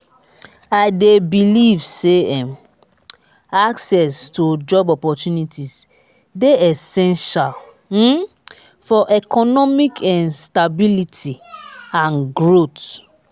i dey believe say um access to job opportunities dey essential um for economic um stability and growth.